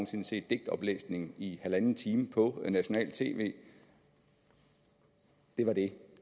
sinde set digtoplæsning i en en halv time på nationalt tv det var det